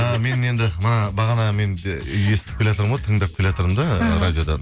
і менің енді мына бағанағы менің де естіп келеатырмын ғой тыңдап келатырмын да іхі радиодан